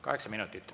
Kaheksa minutit.